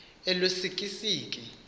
elusikisiki